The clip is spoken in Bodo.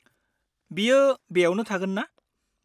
बियो बेयावनो थागोनना?